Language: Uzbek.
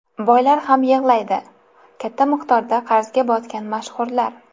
Boylar ham yig‘laydi: Katta miqdorda qarzga botgan mashhurlar.